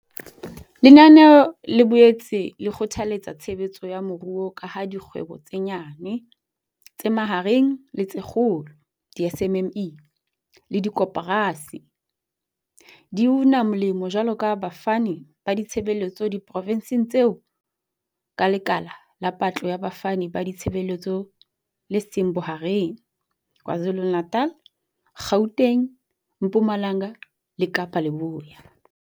Lenanelo le boetse le kgothaletsa tshebetso ya moruo ka ha dikgwebo tse nyane, tse mahareng le tse kgolo di-SMME le dikoporasi di una molemo jwaloka bafani ba ditshebeletso diprofenseng tseo ka lekala la patlo ya bafani ba ditshebeletso le seng bohareng KwaZulu-Natal, Gauteng, Mpumalanga le Kapa Leboya.